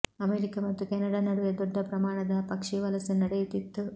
America ಮತ್ತು Canada ನಡುವೆ ದೊಡ್ಡ ಪ್ರಮಾಣದ ಪಕ್ಷಿ ವಲಸೆ ನಡೆಯುತ್ತಿತ್ತು